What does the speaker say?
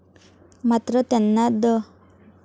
मात्र त्यांना द.